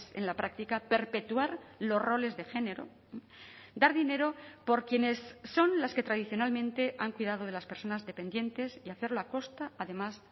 en la práctica perpetuar los roles de género dar dinero por quienes son las que tradicionalmente han cuidado de las personas dependientes y hacerlo a costa además